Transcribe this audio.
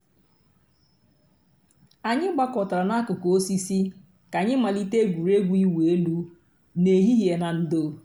ànyị̀ gbàkọ̀tárà n'àkùkò òsìsì kà ànyị̀ màlítè ègwè́régwụ̀ ị̀wụ̀ èlù n'èhìhìè nà ndò̩.